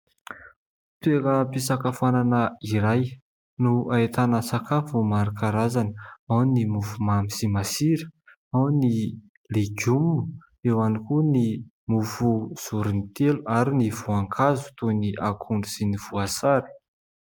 toekam-pisakafanana iray no ahitana sakafo maro karazany ao ny mofo mamy sy masira ao ny legioma eo hiany koa ny mofo voriny telo ary ny voan-kazo toy ny akondro sy ny voasary